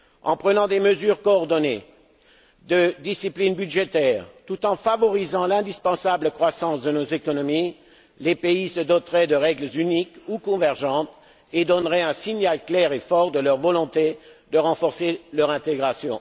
En prenant des mesures coordonnées de discipline budgétaire, tout en favorisant l'indispensable croissance de nos économies, les pays se doteraient de règles uniques ou convergentes et donneraient un signal clair et fort de leur volonté de renforcer leur intégration.